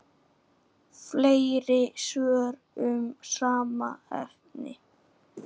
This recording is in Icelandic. Fleiri svör um sama efni